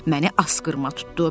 Məni asqırma tutdu.